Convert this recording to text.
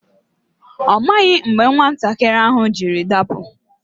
Ọ maghị mgbe nwatakịrị ahụ jiri dapụ.